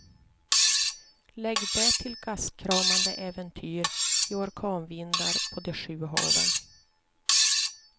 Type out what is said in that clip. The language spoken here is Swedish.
Lägg därtill gastkramande äventyr i orkanvindar på de sju haven.